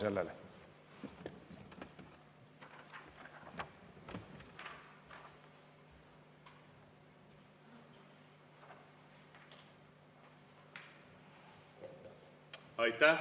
Aitäh!